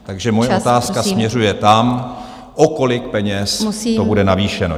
Takže moje otázka směřuje tam, o kolik peněz to bude navýšeno.